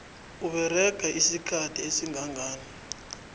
usebenze isikhathi esingangani